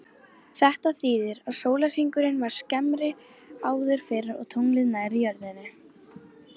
Þetta þýðir að sólarhringurinn var skemmri áður fyrr og tunglið nær jörðinni.